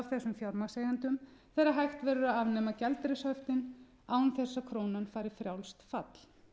þessum fjármagnseigendum þegar hægt verður að afnema gjaldeyrishöftin án þess að krónan fari í frjálst fall